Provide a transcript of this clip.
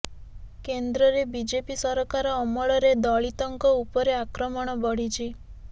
କେନ୍ଦ୍ରରେ ବିଜେପି ସରକାର ଅମଳରେ ଦଳିତଙ୍କ ଉପରେ ଆକ୍ରମଣ ବଢ଼ିଛି